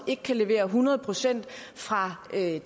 ikke kan levere hundrede procent fra